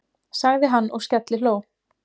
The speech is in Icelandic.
sagði hann og skellihló.